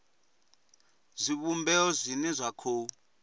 zwivhumbeo zwine zwa sa khou